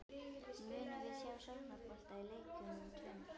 Munum við sjá sóknarbolta í leikjunum tveimur?